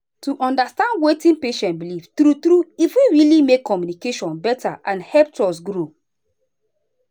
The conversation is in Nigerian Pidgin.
to understand wetin patient believe true true e fit really make communication better and help trust grow.